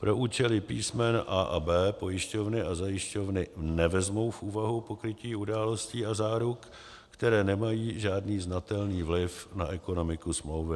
Pro účely písmen a) a b) pojišťovny a zajišťovny nevezmou v úvahu pokrytí událostí a záruk, které nemají žádný znatelný vliv na ekonomiku smlouvy.